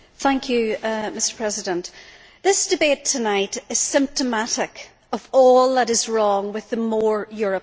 Mr President, this debate tonight is symptomatic of all that is wrong with the more Europe' agenda.